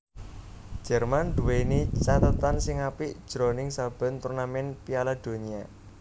Jerman nduwèni cathetan sing apik jroning saben turnamèn Piala Donya